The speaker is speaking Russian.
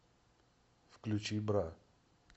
включи бра